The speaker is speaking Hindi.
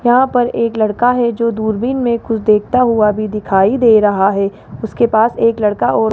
यहां पर एक लड़का है जो दूरबीन में कुछ देखता हुआ भी दिखाई दे रहा है उसके पास एक लड़का और--